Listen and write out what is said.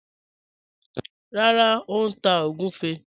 Rárá, ó n tá ogunfẹ́